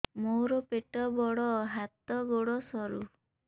ମୋର ପେଟ ବଡ ହାତ ଗୋଡ ସରୁ